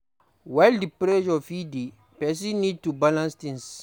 While di pressure fit dey, person need to balance things